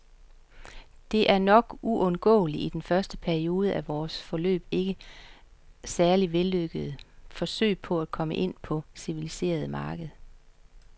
Det er nok uundgåeligt i den første periode af vores, foreløbig ikke særlig vellykkede, forsøg på at komme ind på det civiliserede marked.